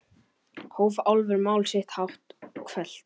hóf Álfur mál sitt hátt og hvellt.